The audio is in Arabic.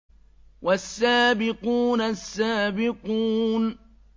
وَالسَّابِقُونَ السَّابِقُونَ